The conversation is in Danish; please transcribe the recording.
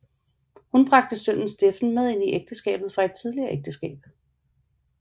Hun bragte sønnen Steffen med ind i ægteskabet fra et tidligere ægteskab